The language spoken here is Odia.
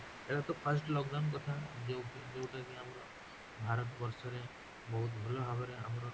ଏଇଟା ତ first lockdown କଥା ଯୋଉଟା ଯୋଉଟା କି ଆମର ଭାରତ ବର୍ଷ ରେ ବହୁତ ଭଲ ଭାବରେ ଆମର